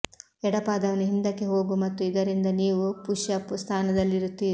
ಎಡ ಪಾದವನ್ನು ಹಿಂದಕ್ಕೆ ಹೋಗು ಮತ್ತು ಇದರಿಂದ ನೀವು ಪುಶ್ಅಪ್ ಸ್ಥಾನದಲ್ಲಿರುತ್ತೀರಿ